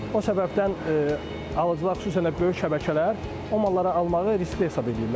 O səbəbdən alıcılar xüsusən də böyük şəbəkələr o malları almağı riskli hesab edirlər.